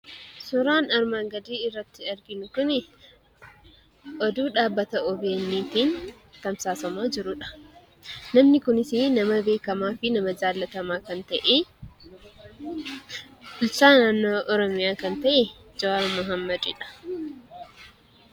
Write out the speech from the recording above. Suuraan armaan gadii irratti arginu kuni oduu dhaabbata ogeeyyiitiin tamsaasamaa jirudha. Namni kunis nama beekamaa fi nama jaallatamaa kan ta'e, bulchaa naannoo Oromiyaa kan ta'e Jowaar Mohaammedidha.